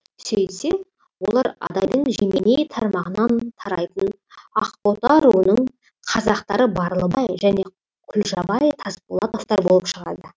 сөйтсе олар адайдың жеменей тармағынан тарайтын ақбота руының қазақтары барлыбай және құлжабай тасболатовтар болып шығады